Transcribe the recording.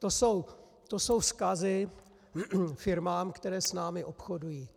To jsou vzkazy firmám, které s námi obchodují.